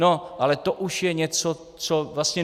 No ale to už je něco, co vlastně...